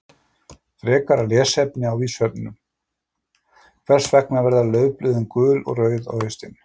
Frekara lesefni á Vísindavefnum: Hvers vegna verða laufblöðin gul og rauð á haustin?